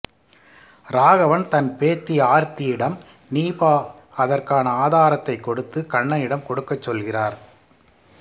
ராகவன் தன் பேத்தி ஆர்த்தியிடம் நீபா அதற்கான ஆதாரத்தைக் கொடுத்து கண்ணனிடம் கொடுக்கச் சொல்கிறார்